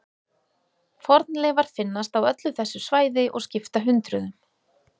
Fornleifar finnast á öllu þessu svæði og skipta hundruðum.